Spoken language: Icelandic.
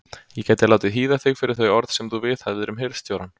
Ég gæti látið hýða þig fyrir þau orð sem þú viðhafðir um hirðstjórann.